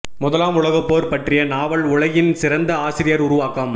முதலாம் உலகப் போர் பற்றிய நாவல் உலகின் சிறந்த ஆசிரியர் உருவாக்கம்